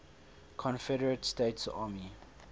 confederate states army